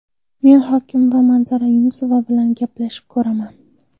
Men hokim va Manzura Yunusova bilan gaplashib ko‘raman.